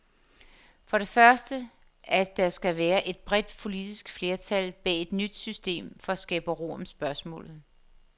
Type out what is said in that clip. For det første, at der skal være et bredt politisk flertal bag et nyt system for at skabe ro om spørgsmålet.